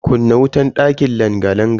Kunna wutan dakin langa-langan nan.